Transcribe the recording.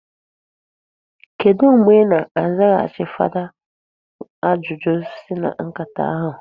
Kedụ mgbe i na-azaghachi fada ajụjụ si na nkata ahụ?